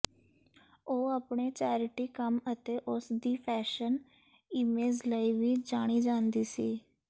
ਉਹ ਆਪਣੇ ਚੈਰਿਟੀ ਕੰਮ ਅਤੇ ਉਸ ਦੀ ਫੈਸ਼ਨ ਈਮੇਜ਼ ਲਈ ਵੀ ਜਾਣੀ ਜਾਂਦੀ ਸੀ